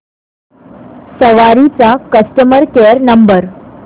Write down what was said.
सवारी चा customer care number